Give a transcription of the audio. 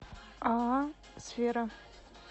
ааа сфера